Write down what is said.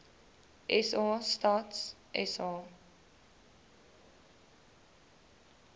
sa stats sa